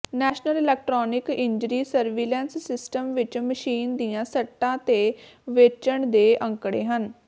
national electronic injury surveillance system ਵਿਚ machine ਦੀਆਂ ਸੱਟਾਂ ਤੇ ਵੇਚਣ ਦੇ ਅੰਕੜੇ ਹਨ